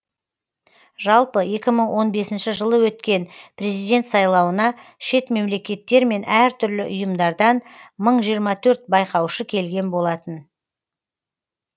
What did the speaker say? жалпы екі мың он бесінші жылы өткен президент сайлауына шет мемлекеттер мен әртүрлі ұйымдардан мың жиырма төрт байқаушы келген болатын